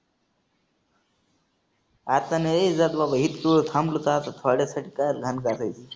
आता नाही जात बाबा हिथवर थांबलो तर आता थोड्यासाठी काय घाण करायची.